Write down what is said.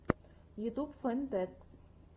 ютюб фэн тэкс